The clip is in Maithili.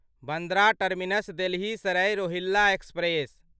Bandra terminus Delhi Sarai Rohilla express